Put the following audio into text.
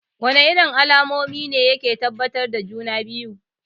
Wana irin alamomi ne yake tabbatar da juna-biyu?